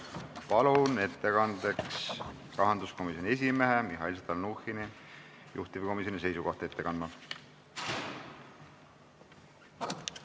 Palun kõnetooli rahanduskomisjoni esimehe Mihhail Stalnuhhini juhtivkomisjoni seisukohta ette kandma!